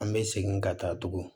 An bɛ segin ka taa tugun